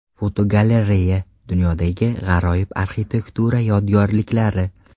Fotogalereya: Dunyodagi g‘aroyib arxitektura yodgorliklari.